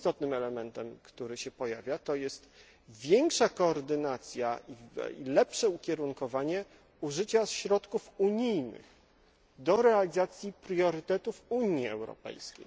celu. Drugim istotnym elementem, który się pojawia, jest większa koordynacja i lepsze ukierunkowanie użycia środków unijnych do realizacji priorytetów Unii Europejskiej.